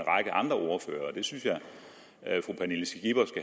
det synes jeg